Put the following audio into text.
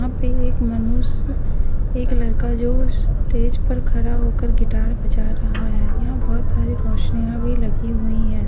वहां पर एक मनुष्य एक लड़का जो स्टेज पर खड़ा होकर गिटार बजा रहा है यहां बहुत सारे रोशनिया भी लगी हुई हैं।